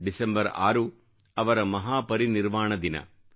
December 6 ಅವರ ಮಹಾಪರಿನಿರ್ವಾಣ ದಿನ